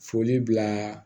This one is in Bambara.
Foli bila